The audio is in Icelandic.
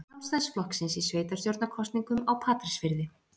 Sjálfstæðisflokksins í sveitarstjórnarkosningum á Patreksfirði.